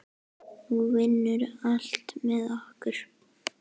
Nú vinnur allt með okkur.